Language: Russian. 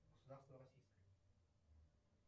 государство российское